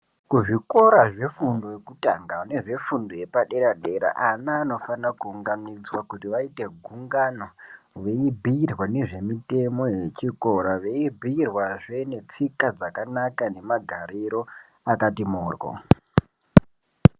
Kuzvikora zvefundo yekutanga nezvefundo yepadera-dera ana anofana kuunganidzwa kuti vaite gungano veibhuirwa ngezvemitemo yechikora zveibhuirwazve netsika dzakanaka nemagariro akati mhoryo.